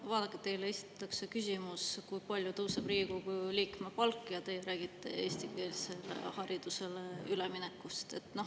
No vaadake, teile esitatakse küsimus, kui palju tõuseb Riigikogu liikme palk, ja te räägite eestikeelsele haridusele üleminekust.